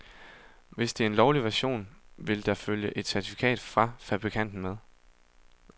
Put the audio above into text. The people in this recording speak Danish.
Hvis det er en lovlig version, vil der følge et certifikat fra fabrikanten med.